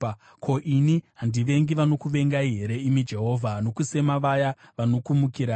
Ko, ini handivengi vanokuvengai here, imi Jehovha, nokusema vaya vanokumukirai?